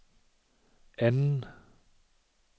anden